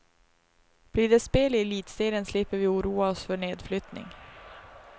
Blir det spel i elitserien slipper vi oroa oss för nedflyttning.